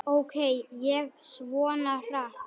Ók ég svona hratt?